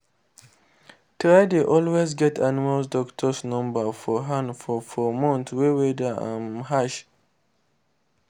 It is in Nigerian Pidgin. try dey always get animal doctor number for hand for for months wey weather um harsh